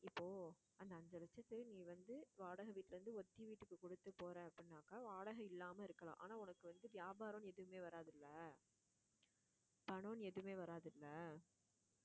இப்போ அஞ்சு லட்சத்தை நீ வந்து வாடகை வீட்டுல இருந்து ஒத்தி வீட்டுக்கு கொடுத்து போற அப்படின்னாக்கா வாடகை இல்லாம இருக்கலாம் ஆனா உனக்கு வந்து வியாபாரம்ன்னு எதுவுமே வராதுல்ல பணம் எதுவுமே வராதுல்ல